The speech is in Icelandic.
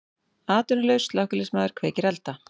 Atvinnulaus slökkviliðsmaður kveikir elda